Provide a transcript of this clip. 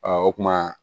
o kuma